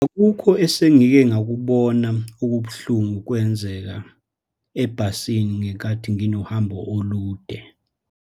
Akukho esengikengakubona okubuhlungu kwenzeka ebhasini ngenkathi nginohambo olude.